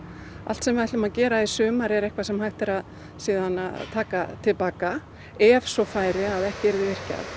allt sem við ætlum að gera í sumar er eitthvað sem hægt er að taka til baka ef svo færi að ekki yrði virkjað